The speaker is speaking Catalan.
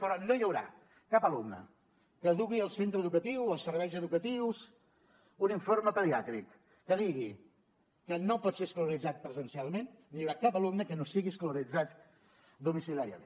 però no hi haurà cap alumne que dugui al centre educatiu als serveis educatius un informe pediàtric que digui que no pot ser escolaritzat presencialment ni hi haurà cap alumne que no sigui escolaritzat domiciliàriament